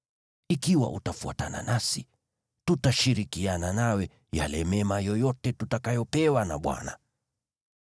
Ikiwa utafuatana nasi, tutashirikiana nawe mema yoyote tutakayopewa na Bwana .”